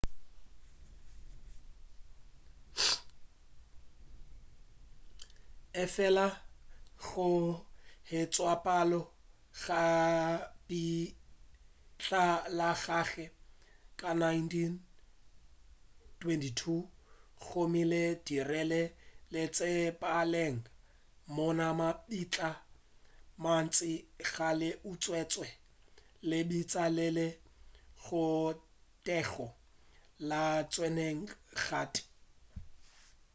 efela go hwetšagala ga lebitla la gagwe ka 1922 go mo dirile setsebalegi mola mabitla a mantši a kgale a utswetšwe lebitla le le tlogetšwe le sa tshwenywa le ga tee